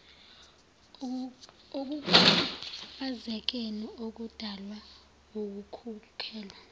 ekukhubazekeni okudalwa wukukhulelwa